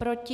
Proti?